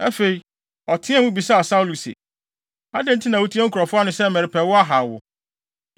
Afei, ɔteɛɛ mu bisaa Saulo se, “Adɛn nti na wutie nkurɔfo ano sɛ merepɛ wo ahaw wo?